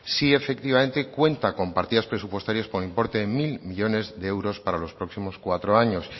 sí efectivamente cuenta con partidas presupuestarias por importe de mil millónes de euros para los próximos cuatro años